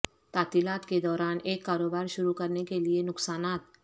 تعطیلات کے دوران ایک کاروبار شروع کرنے کے لئے نقصانات